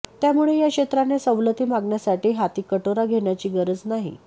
त्यामुळे या क्षेत्राने सवलती मागण्यासाठी हाती कटोरा घेण्याची गरज नाही